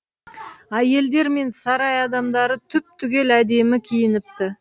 әйелдер мен сарай адамдары түп түгел әдемі киініпті